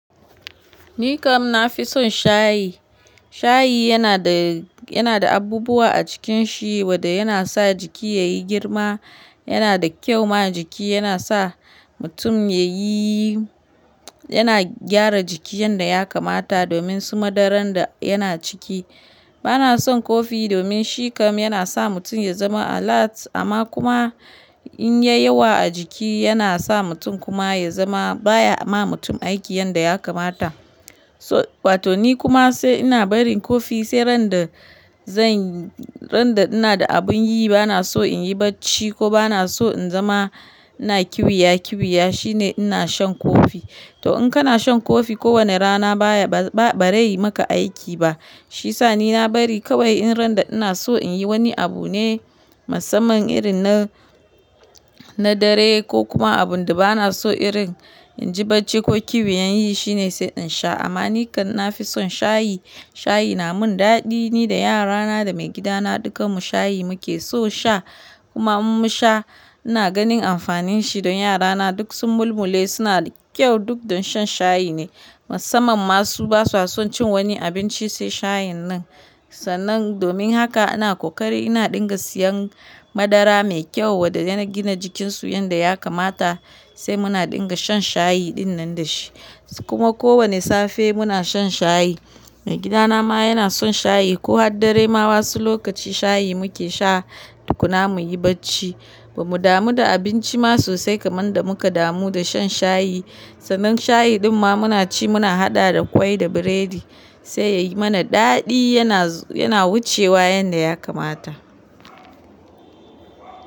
Ni kam na fi son shayi. Shayi yana da, yana da abubuwa a cikinshi wadda yana sa jiki yayi girma. Yana da kyau ma jiki, yana sa mutum yayi yana gyara jiki yanda ya kamata domin su madaran da yana ciki. Bana son kofi domin shi kam yana sa mutum ya zama alert amma kuma in ya yi yawa a jiki, yana sa mutum kuma ya zama baya ma mutum aiki yanda ya kamata. So- wato ni kuma sai ina bari kofi sai ran da zan yi, ran da ina da abin yi bana so in yi bacci ko bana so in zama ina kiwiya kiwiya shine ina shan kofi. To in kana shan kofi kowane rana baya ba, ba, ba rai maka aiki ba. Shi sa ni na bari kawai in ran da ina so in yi wani abu ne, musamman irin na, na dare ko kuma abun da bana so irin in ji bacci ko kiwiya in yi shine sai in sha. Amma ni kam na fi son shayi. Shayi na mun daɗi. Ni da yara na da maigida na dukan mu shayi muke so sha. Kuma in mun sha, ina ganin amfanin shi don yara na duk sun mulmule suna da kyau duk don shan shayi ne. Musamman masu ba su son cin wani abinci sai shayin nan. Sannan domin haka ina kokari ina dinga siyan madara mai kyau wadda yana gina jikin su yanda ya kamata sai muna dinga shan shayi ɗin nan da shi. Kuma kowane safe muna shan shayi. Maigida na ma yana son shayi ko haddare ma wasu lokaci shayi muke sha tukuna muyi bacci. Ba mu damu da abinci ma sosai kaman da muka damu da shan shayi. Sannan shayi ɗin ma muna ci muna haɗa da kwai da biredi sai yayi mana daɗi. Yana, yana wucewa yanda ya kamata.